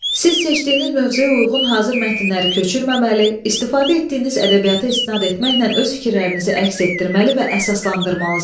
Siz seçdiyiniz mövzuya uyğun hazır mətnləri köçürməməli, istifadə etdiyiniz ədəbiyyata istinad etməklə öz fikirlərinizi əks etdirməli və əsaslandırmalısınız.